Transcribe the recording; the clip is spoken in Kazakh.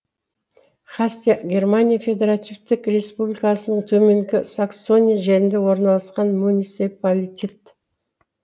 хасте германия федеративтік республикасының төменгі саксония жерінде орналасқан муниципалитет